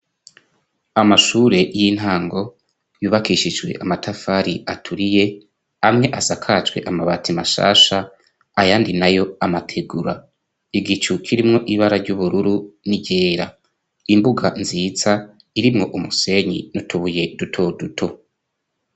Amashure y'intango yubakishijwe amatafari aturiye amwe asakacwe amabati mashasha ayandi nayo amategura igicukirimwo ibara ry'ubururu n'iryera imbuga nziza irimwo umusenyi n'utubuye dutoduto.